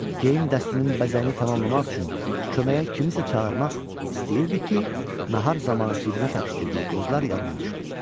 Geyim dəstinin bəzəyini tamamlamaq üçün köməyə kimisə çağırmaq istəyirdi ki, nahar zamanı cibinə təpişdirdiyi qozlar yadına düşdü.